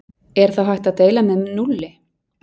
Er þá hægt að deila með núlli?